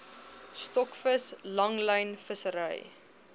stokvis langlyn vissery